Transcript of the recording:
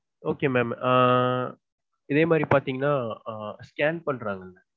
Okay mam ஆஹ் இதே மாதிரி பாத்தீங்கன ஆஹ் scan பண்றாங்க